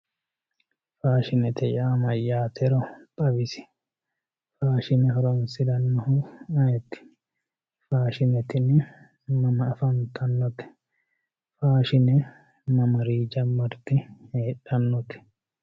faashinete yaa mayyaatero xawisi faashine horoonsirannohu ayeeti f. aashine tini mama afantannote faashine mamarii jammarte heedhannote